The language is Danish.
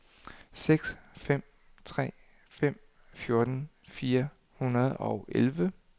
seks fem tre fem fjorten fire hundrede og elleve